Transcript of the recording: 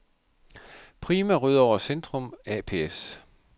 Prima Rødovre Centrum ApS